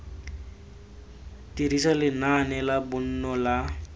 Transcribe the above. dirisa lenaane la bonno la